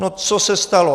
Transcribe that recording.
No co se stalo?